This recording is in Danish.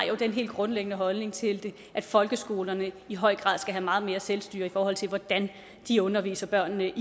jo den helt grundlæggende holdning til det at folkeskolerne i høj grad skal have meget mere selvstyre i forhold til hvordan de underviser børnene